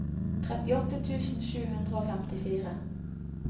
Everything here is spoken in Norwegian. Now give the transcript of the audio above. trettiåtte tusen sju hundre og femtifire